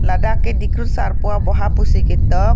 ladak ke dikrut sarpo aboha pusi ketok.